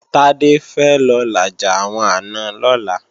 Tádé fẹ́ lọ làjà àwọn àna lọ́la